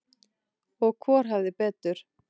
Og hvor hafði betur.